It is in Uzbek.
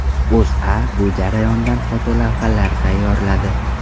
O‘zA bu jarayondan fotolavhalar tayyorladi .